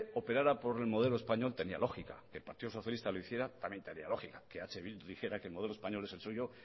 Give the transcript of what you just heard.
operara por el modelo español tenía lógica que el partido socialista lo hiciera también tenía lógica que eh bildu dijera que el modelo español es el suyo